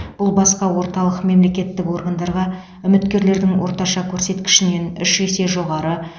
бұл басқа орталық мемлекеттік органдарға үміткерлердің орташа көрсеткішінен үш есе жоғары